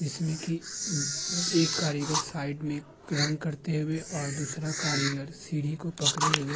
जिसमें कि एक कारीगर साइड में रंग करते हुए और दूसरा कारीगर सीढ़ी को पकड़े हुए --